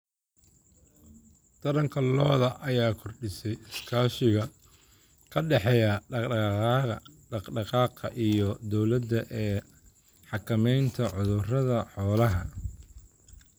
Taranka lo'da lo'da ayaa kordhisay iskaashiga ka dhexeeya dhaq-dhaqaaqa iyo dowladda ee xakameynta cudurrada xoolaha.